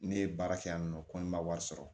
Ne ye baara kɛ yan nɔ ko n ma wari sɔrɔ